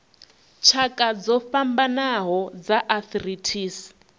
tshakha dzo fhambanaho dza arthritis